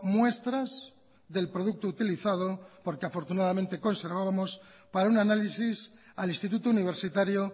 muestras del producto utilizado porque afortunadamente conservábamos para un análisis al instituto universitario